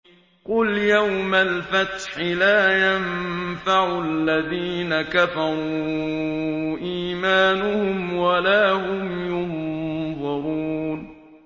قُلْ يَوْمَ الْفَتْحِ لَا يَنفَعُ الَّذِينَ كَفَرُوا إِيمَانُهُمْ وَلَا هُمْ يُنظَرُونَ